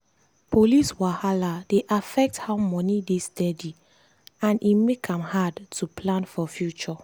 police wahala dey affect how money dey steady and e make am hard to plan for future.